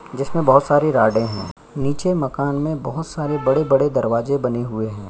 जिसमें बहुत सारी राडे है नीचे मकान में बहुत सारे बड़े-बड़े दरवाजे बने हुए हैं।